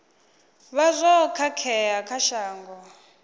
vha zwo khakhea kha shango